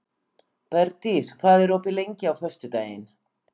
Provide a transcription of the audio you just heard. Bergdís, hvað er opið lengi á föstudaginn?